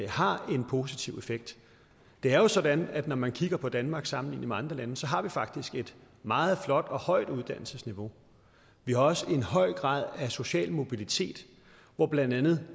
har en positiv effekt det er jo sådan at når man kigger på danmark sammenlignet med andre lande har vi faktisk et meget flot og højt uddannelsesniveau vi har også en høj grad af social mobilitet hvor blandt andet